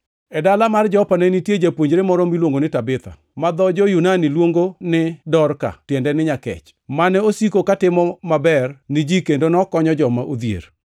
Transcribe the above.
E dala mar Jopa ne nitie japuonjre moro miluongo ni Tabitha (ma dho jo-Yunani luongo bi Dorka tiende ni Nyakech) mane osiko katimo maber ni ji kendo nokonyo joma odhier.